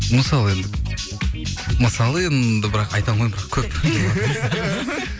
мысалы енді мысалы енді бірақ айта алмаймын бірақ көп